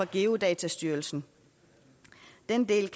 geodatastyrelsen den del